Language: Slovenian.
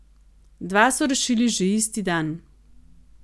Dva so rešili že isti dan.